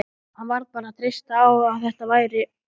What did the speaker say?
Hann varð bara að treysta á að þetta væri